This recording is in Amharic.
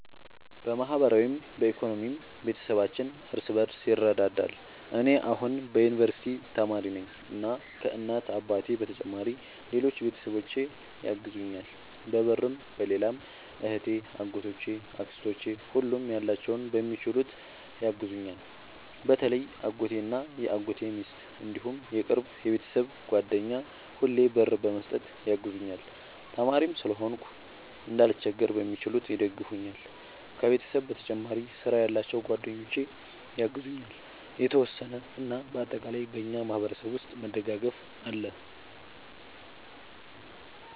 በማህበራዊም በኢኮኖሚም ቤተሰባችን እርስ በርስ ይረዳዳል። እኔ አሁን የዩንቨርስቲ ተማሪ ነኝ እና ከ እናት አባቴ በተጨማሪ ሌሎች ቤተሰቦቼ ያግዙኛል በብርም በሌላም እህቴ አጎቶቼ አክስቶቼ ሁሉም ያላቸውን በሚችሉት ያግዙኛል። በተለይ አጎቴ እና የአጎቴ ሚስት እንዲሁም የቅርብ የቤተሰብ ጓደኛ ሁሌ ብር በመስጠት ያግዙኛል። ተማሪም ስለሆንኩ እንዳልቸገር በሚችሉት ይደግፈኛል። ከቤተሰብ በተጨማሪ ስራ ያላቸው ጓደኞቼ ያግዙኛል የተወሰነ። እና በአጠቃላይ በእኛ ማህበረሰብ ውስጥ መደጋገፍ አለ